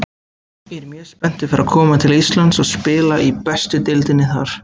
Ég er mjög spenntur fyrir að koma til Íslands og spila í bestu deildinni þar.